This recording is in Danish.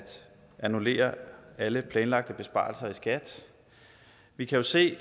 annullere alle planlagte besparelser i skat vi kan jo se